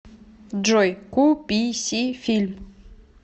джой ку пи си фильм